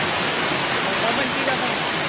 ਆਉਂਦਾ ਬੰਟੀ ਦਾ phone